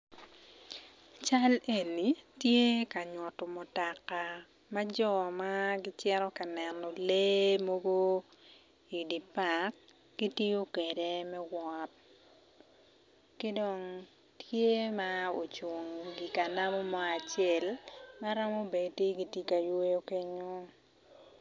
Cal eni tye ka nyuto mutoka ma jo mogo ma gicito ka neno lee mogo gitiyo kwede me wot ki dong the ma ocung i kanamu mo acel.